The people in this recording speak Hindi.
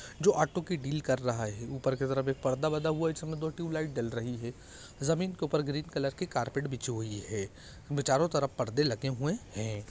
जो ऑटो की डील कर रहा है ऊपर की तरफ एक पर्दा बंधा हुआ है जिसमें दो ट्यूब लाइट जल रही हैं जमीन के ऊपर ग्रीन कलर के कार्पेट बिछी हुई है चारों तरफ परदे लगे हुए हैं